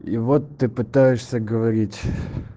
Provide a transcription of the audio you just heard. и вот ты пытаешься говорить